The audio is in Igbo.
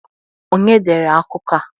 Onye dere akụkọ a?